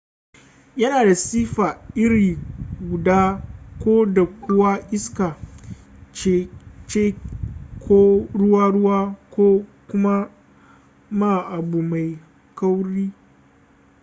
yana da siffa iri guda ko da kuwa iska ce ko ruwa-ruwa ko kuma ma abu mai kauri